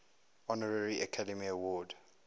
honorary academy award